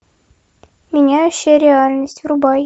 меняющие реальность врубай